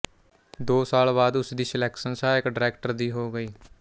ਦੋ ਸਾਲ ਬਾਅਦ ਉਸ ਦੀ ਸਿਲੈਕਸ਼ਨ ਸਹਾਇਕ ਡਾਇਰੈਕਟਰ ਦੀ ਹੋ ਗਈ